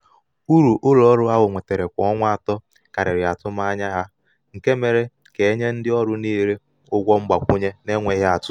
uru ụlọ ọrụ ahụ nwetara kwa ọnwa atọ karịrị atụmanya nke mere ka a nye ndị ọrụ niile ụgwọ mgbakwunye n’enweghị atụ.